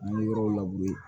yɔrɔw